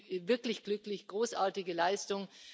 Also ich bin wirklich glücklich großartige Leistung!